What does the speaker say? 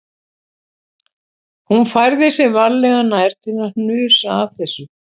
Hún færði sig varlega nær til að hnusa af þessu